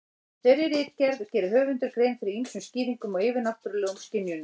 Í þeirri ritgerð gerir höfundur grein fyrir ýmsum skýringum á yfirnáttúrulegum skynjunum.